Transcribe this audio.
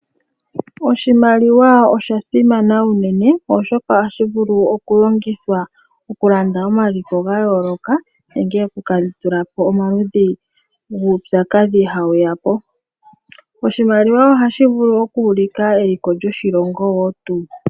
Oshimaliwa osha simana unene oshoka ohashi vulu okulongithwa okulanda omaliko ga yooloka nenge okukandula po omaludhi guupyakadhi hawu ya po. Oshimaliwa ohashi vulu oku ulika eliko lyoshilongo woo tuu.